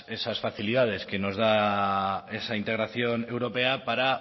esas facilidades que nos da esa integración europea para